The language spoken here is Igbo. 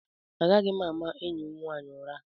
Agaghị m ama enyi m nwanyị ụra.